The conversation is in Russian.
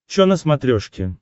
чо на смотрешке